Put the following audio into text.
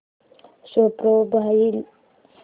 show profile